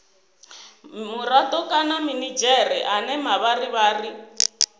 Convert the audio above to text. murado kana minidzhere ane mavharivhari